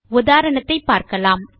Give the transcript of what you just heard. உதாரணத்தைப் பார்க்கலாம்